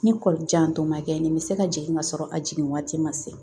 Ni kɔlijantɔ ma kɛ nin bɛ se ka jigin ka sɔrɔ a jigin waati ma se